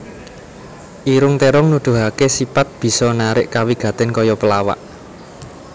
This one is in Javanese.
Irung Térong Nuduhaké sipat bisa narik kawigatèn kaya pelawak